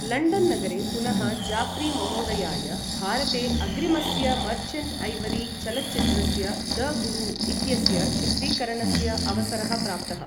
London नगरे पुनः जाफ्री महोदयाय भारते अग्रिमस्य मर्चण्ट् ऐवरी चलच्चित्रस्य द गुरु इत्यस्य चित्रीकरणस्य अवसरः प्राप्तः।